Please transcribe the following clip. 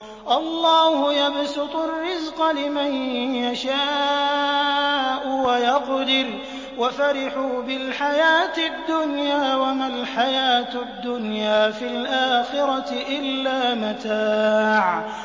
اللَّهُ يَبْسُطُ الرِّزْقَ لِمَن يَشَاءُ وَيَقْدِرُ ۚ وَفَرِحُوا بِالْحَيَاةِ الدُّنْيَا وَمَا الْحَيَاةُ الدُّنْيَا فِي الْآخِرَةِ إِلَّا مَتَاعٌ